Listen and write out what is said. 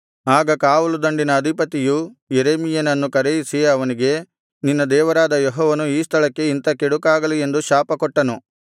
ಆಗ ಕಾವಲು ದಂಡಿನ ಅಧಿಪತಿಯು ಯೆರೆಮೀಯನನ್ನು ಕರೆಯಿಸಿ ಅವನಿಗೆ ನಿನ್ನ ದೇವರಾದ ಯೆಹೋವನು ಈ ಸ್ಥಳಕ್ಕೆ ಇಂಥ ಕೆಡುಕಾಗಲಿ ಎಂದು ಶಾಪಕೊಟ್ಟನು